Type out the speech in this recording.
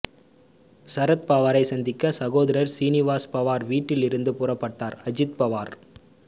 சரத்பவாரை சந்திக்க சகோதரர் சீனிவாஸ் பவார் வீட்டில் இருந்து புறப்பட்டார் அஜித் பவார்